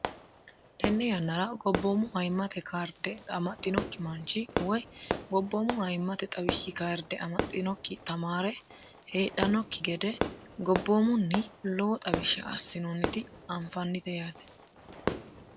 Tenne yannara goboomu ayimmate kaarde amaxinoki manchi woyi goboomu ayimate xawishi kaarde amaxinoki tamaare heedhanoki gede goboomunni lowo xawisha asinoonniti anfannite yaate.